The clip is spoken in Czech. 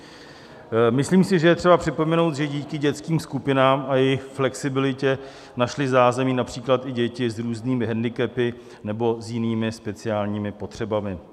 Myslím si, že je třeba připomenout, že díky dětským skupinám a jejich flexibilitě našly zázemí například i děti s různými handicapy nebo s jinými speciální potřebami.